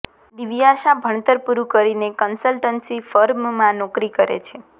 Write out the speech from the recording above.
દિવ્યાશા ભણતર પુરૃં કરીને કન્સલ્ટન્સી ફર્મમાં નોકરી કરે છે